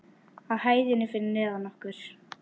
Á hæðinni fyrir neðan okkur.